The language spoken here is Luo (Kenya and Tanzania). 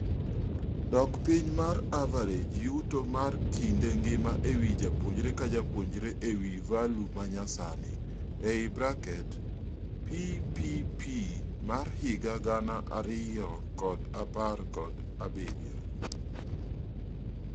Dok piny mar average yuto mar kinde ngima ewii japuonjre kajapuonjre e value manyasani (PPP mar higa gana ariyo kod apar kod abirio)